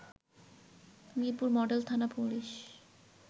Mirpur model থানা police